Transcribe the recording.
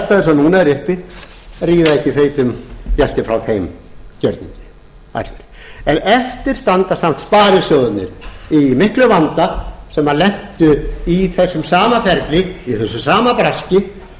þær aðstæður sem núna eru uppi ríða ekki feitum gæti frá þeim gjörningi eftir standa samt sparisjóðirnir í miklum vanda sem lentu í þessu sama ferli í þessu sama braski